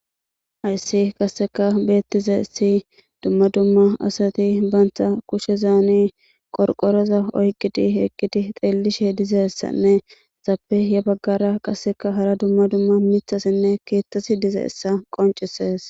Ayssi qasseka beettize si dumma dumma asati baantha kushe zaani qorqoreza oyqqiti eqqiti xeellishe dizessanne zappe ye baggara qasseka hara dumma dumma mithasinne keettasi dizeessa qoncisees